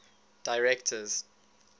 directors